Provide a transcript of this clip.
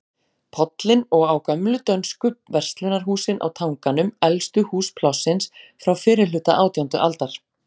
Pollinn og á gömlu dönsku verslunarhúsin á Tanganum, elstu hús Plássins, frá fyrrihluta átjándu aldar.